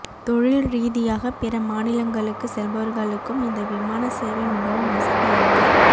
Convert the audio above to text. தொழில் ரீதியாக பிற மாநிலங்களுக்கு செல்பவர்களுக்கும் இந்த விமான சேவை மிகவும் வசதியாக